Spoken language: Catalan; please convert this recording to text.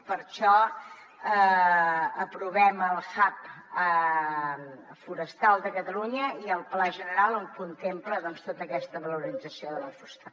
i per això aprovem el hub forestal de catalunya i el pla general que contempla tota aquesta valorització de la fusta